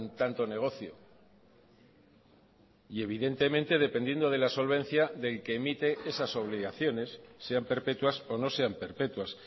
tanto negocio y evidentemente dependiendo de la solvencia del que emite esas obligaciones sean perpetuas o no sean perpetuas